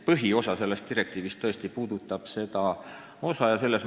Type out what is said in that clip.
Põhiosa sellest direktiivist puudutab tõesti seda poolt.